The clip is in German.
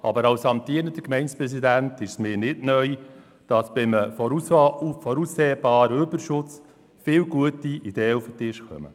Aber als amtierender Gemeindepräsident ist es mir nicht neu, dass bei einem voraussehbaren Überschuss viele gute Ideen auf den Tisch kommen.